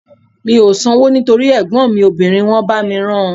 Mi ò sanwó nítorí ẹ̀gbọ́n mi obìnrin wọ́n bá mi rán an